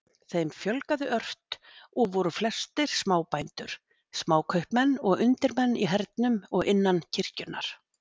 Þeim fjölgaði ört og voru flestir smábændur, smákaupmenn og undirmenn í hernum og innan kirkjunnar.